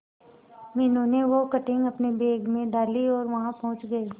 मीनू ने वो कटिंग अपने बैग में डाली और वहां पहुंच गए